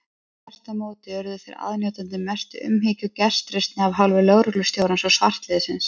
Þvert á móti urðu þeir aðnjótandi mestu umhyggju og gestrisni af hálfu lögreglustjórans og svartliðsins.